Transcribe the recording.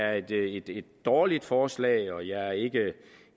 et dårligt forslag og jeg er ikke